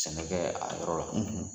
Sɛnɛkɛ a yɔrɔ la